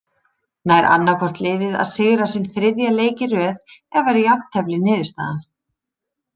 Nær annaðhvort liðið að sigra sinn þriðja leik í röð eða verður jafntefli niðurstaðan.